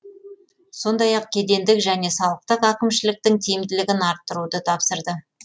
сондай ақ кедендік және салықтық әкімшіліктің тиімдігілін арттыруды тапсырды